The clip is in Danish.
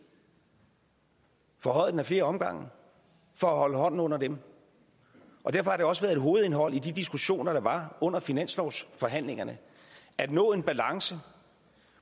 forhøjede flere omgange for at holde hånden under dem derfor har det også været et hovedindhold i de diskussioner der var under finanslovsforhandlingerne at nå en balance